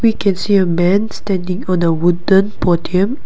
we can see uh man standing on the wooden podium.